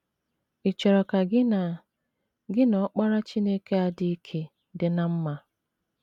Ị̀ chọrọ ka gị na gị na Ọkpara Chineke a dị ike dị ná mma?